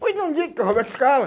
Pois não diga que é o Roberto Scala?